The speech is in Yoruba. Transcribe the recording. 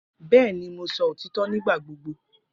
Bẹẹni, Mo sọ otitọ nigbagbogbo.